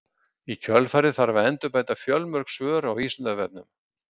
í kjölfarið þarf að endurbæta fjölmörg svör á vísindavefnum